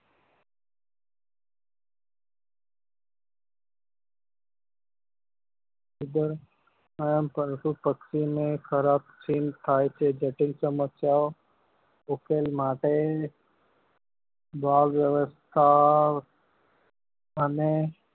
પશુ પક્ષી ઓ ને થાય છે જટિલ સમસ્યા ઓ ના ઉકેલ માટે બાળ વ્યવસ્થા અને